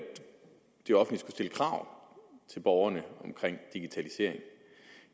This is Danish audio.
det offentlige krav til borgerne omkring digitalisering